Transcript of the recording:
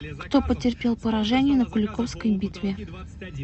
кто потерпел поражение на куликовской битве